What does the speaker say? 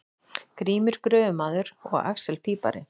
Grímur gröfumaður og axel pípari.